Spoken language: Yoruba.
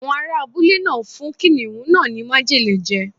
Àwọn ará abúlé náà fún kìnnìún náà ní májèlé je.